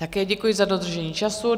Také děkuji za dodržení času.